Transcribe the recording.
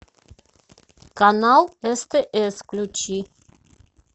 канал стс включи